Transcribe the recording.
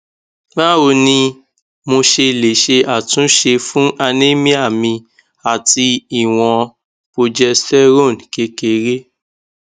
báwo ni mo ṣe lè ṣe àtúnṣe fún anemia mi àti ìwọn progesterone kékeré